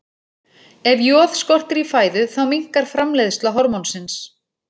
Ef joð skortir í fæðu þá minnkar framleiðsla hormónsins.